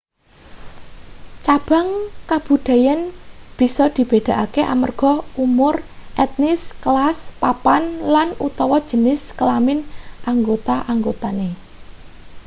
cabang kabudayan bisa dibedakake amarga umur etnis kelas papan lan/utawa jenis kelamin anggota-anggotane